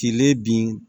Kile bin